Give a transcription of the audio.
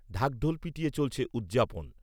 ঢাকঢোল পিটিয়ে চলছে উদযাপন